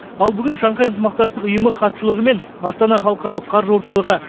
ал бүгін шанхай ынтымақтастық ұйымы хатшылығы мен астана халықаралық қаржы орталығы